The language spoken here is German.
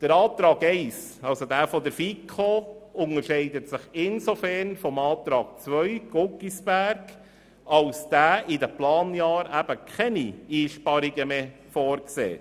Der Antrag 1, also der Antrag der FiKo, unterscheidet sich insofern vom Antrag Guggisberg, als dieser in den Planjahren eben keine Einsparungen vorsieht.